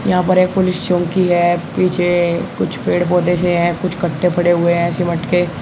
यहां पर एक पुलिस चौकी है पीछे कुछ पेड़ पौधे से हैं कुछ कट्टे पड़े हुए है सिमट के।